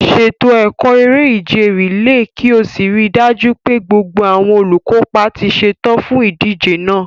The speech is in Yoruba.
Ṣètò ẹ̀kọ́ eré-ìje rìléè kí o sì rí i dájú pé gbogbo àwọn olùkópa ti ṣetán fún ìdíje náà.